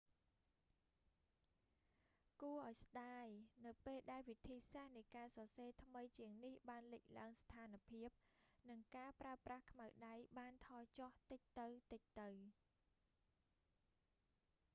គួរឱ្យស្តាយ នៅពេលដែលវិធីសាស្រ្តនៃការសរសេរថ្មីជាងនេះបានលេចឡើង ស្ថានភាព និងការប្រើប្រាស់ខ្មៅដៃបានថយចុះតិចទៅៗ